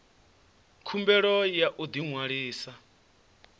khumbelo ya u ḓi ṅwalisa